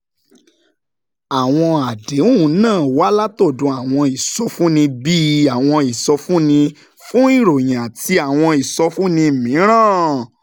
Àwọn àdéhùn náà wá látọ̀dọ̀ àwọn ìsọfúnni bíi àwọn ìsọfúnni fún ìròyìn àti àwọn ìsọfúnni mìíràn